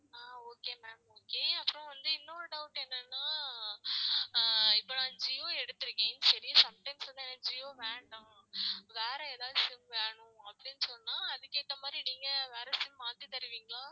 ஆஹ் okay ma'am okay அப்புறம் வந்து இன்னொரு doubt என்னென்னா ஆஹ் இப்போ நான் Jio எடுத்துருக்கேன் சரி sometimes வந்து எனக்கு Jio வேண்டாம் வேற எதாவது SIM வேணும் அப்டின்னு சொன்னா அதுக்கு ஏத்த மாதிரி நீங்க வேற SIM மாத்தி தருவிங்களா